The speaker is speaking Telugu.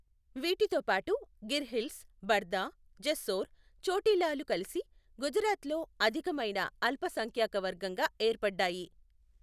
వీటితో పాటు గిర్ హిల్స్, బర్దా, జెస్సోర్, చోటిలాలు కలిసి గుజరాత్లో అధికమైన అల్పసంఖ్యాకవర్గంగా ఏర్పడ్డాయి.